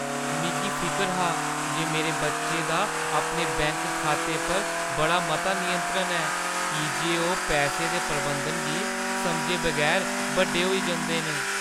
मिगी फिकर हा जे मेरे बच्चे दा अपने बैंक खाते पर बड़ा मता नियंत्रण ऐ की जे ओह् पैसे दे प्रबंधन गी समझे बगैर बड्डे होई जंदे न।